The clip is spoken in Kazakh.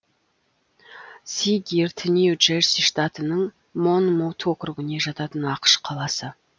си гирт нью джерси штатының монмут округіне жататын ақш қаласы